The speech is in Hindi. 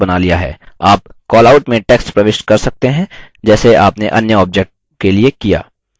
आप callout में text प्रविष्ट कर सकते हैं जैसे आपने अन्य objects के लिए किया